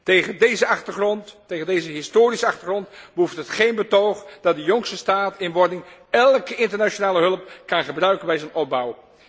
Tegen deze historische achtergrond behoeft het geen betoog dat de jongste staat in wording elke internationale hulp kan gebruiken bij zijn opbouw.